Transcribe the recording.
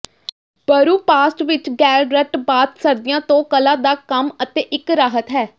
ਬਰੂਪਾਸਟ ਵਿੱਚ Gellert bath ਸਰਦੀਆਂ ਤੋਂ ਕਲਾ ਦਾ ਕੰਮ ਅਤੇ ਇੱਕ ਰਾਹਤ ਹੈ